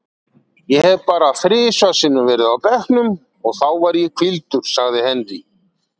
Ég hef bara þrisvar sinnum verið á bekknum og þá var ég hvíldur, sagði Henry.